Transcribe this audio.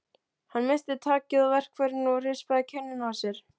Hann missti takið á verkfærinu og rispaði kinnina á mér.